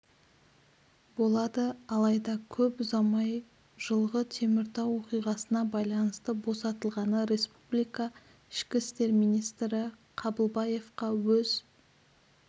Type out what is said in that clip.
болады алайда көп ұзамай жылғы теміртау оқиғасына байланысты босатылған республика ішкі істер министрі қабылбаевқа өз